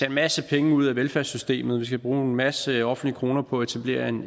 en masse penge ud af velfærdssystemet vi skal bruge en masse offentlige kroner på at etablere en